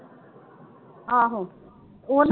ਆਹੋ